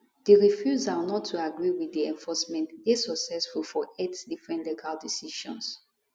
di refusal not to agree wit di enforcement dey successful for eight different legal decisions